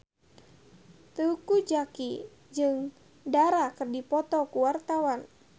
Teuku Zacky jeung Dara keur dipoto ku wartawan